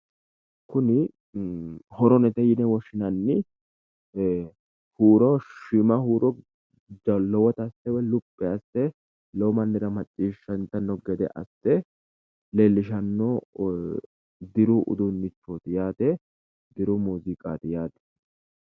Kuni horonete yine woshshinanni huuro shiima huuro lowota asse woy luphi asse lowo mannira macciisshantanno asse leellishanno diru uduunnichooti yaate diru muuziiqaati yaate